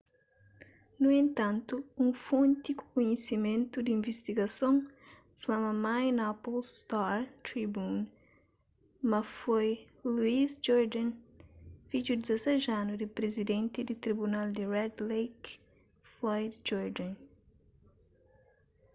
nu entantu un fonti ku kunhisimentu di invistigason fla minneapolis star-tribune ma foi louis jourdain fidju di 16 anu di prizidenti di tribunal di red lake floyd jourdain